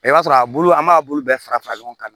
I b'a sɔrɔ a bulu an b'a bulu bɛɛ fara fara ɲɔgɔn kan